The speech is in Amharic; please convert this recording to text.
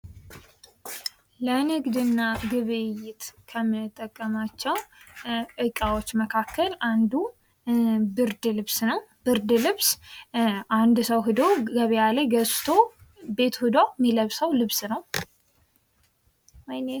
ለንግድና ግብይት ከሚጠቀማቸው ዕቃዎች መካከል አንዱ ብርድ ልብስ ነው። ብርድ ልብስ አንድ ሰው ሄዶ ገበያ ላይ ገዝቶ ቤቱ ሄዶ ሚለብሰው ልብስ ነው።